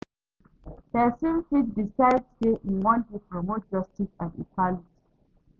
Persin fit decide say im won de promote justice and equality